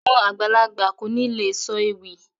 Àwọn àgbàlagbà kò ní lè sọ ewì